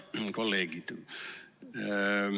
Head kolleegid!